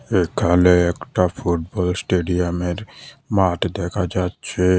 এখানে একটা ফুটবল স্টেডিয়ামের মাঠ দেখা যাচ্ছে।